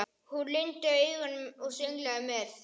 Hún lygndi augunum og sönglaði með.